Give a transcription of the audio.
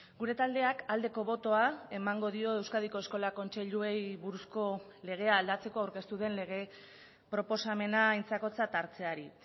gure taldeak aldeko botoa emango dio euskadiko eskola kontseiluei buruzko legea aldatzeko aurkeztu den lege proposamena aintzakotzat hartzeari